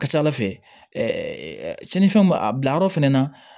A ka ca ala fɛ cɛnnifɛnw b'a a bilayɔrɔ fɛnɛ na